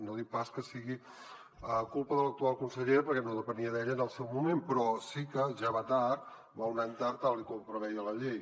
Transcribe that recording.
no dic pas que sigui culpa de l’actual consellera perquè no depenia d’ella en el seu moment però sí que ja va tard va un any tard tal com preveia la llei